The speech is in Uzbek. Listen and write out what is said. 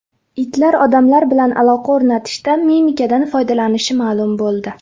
Itlar odamlar bilan aloqa o‘rnatishda mimikadan foydalanishi ma’lum bo‘ldi.